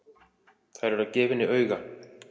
Þær eru að gefa henni auga.